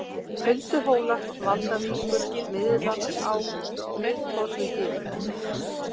Hulduhólar, Valdavíkur, Miðlandsá, Miðtorfugil